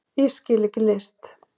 Ég skil ekki list